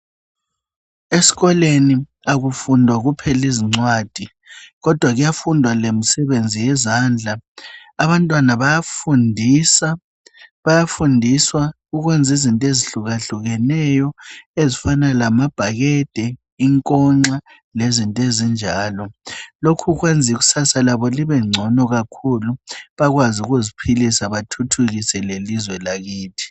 esikolweni akufundwa kuphela izincwadi kodwa kuyafundwa lemisebenzi yezandla abantwana bayafundiswa ukwenza izinto ezihlukahlukeneyo ezifana lamabhakede ingonxa lezinto ezinjalo lokhu kwenza ikusasa labo libencono kakhulu bakwazi ukuziphilisa bathuthukise lelizwe lakithi